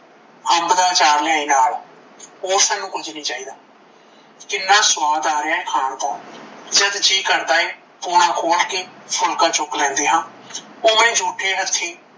ਅਂਬ ਦਾ ਆਚਾਰ ਲੈ ਆਈ ਨਾਲ ਹੋਰ ਸਾਨੂੰ ਕੁਝ ਨਹੀਂ ਚਾਇਦਾ ਕਿੰਨਾ ਸਵਾਦ ਆ ਰੀਆ ਖਾਣ ਤੋਂ ਜਦ ਜੀ ਕਰਦਾ ਪੋਣਾ ਖੋਲ ਕੇ ਫੂਲਕਾ ਚੁੱਕ ਲੈਂਦੇ ਹਾਂ ਉਵੇ ਜੂਠੇ ਹੱਥੀਂ